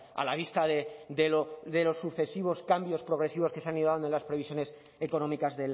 a la vista de los sucesivos cambios progresivos que se han ido dando en las previsiones económicas